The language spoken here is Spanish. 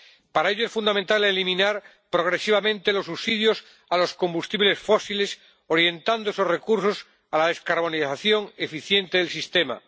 Para ello es fundamental eliminar progresivamente los subsidios a los combustibles fósiles, orientando esos recursos a la descarbonización eficiente del sistema.